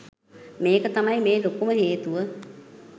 මේක තමයි මේ ලොකුම හේතුව